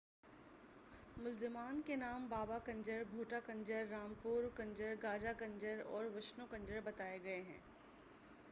ملزمان کے نام بابا کنجر بھوٹا کنجر رامپرو کنجر گاجہ کنجر اور وشنو کنجر بتائے گئے ہیں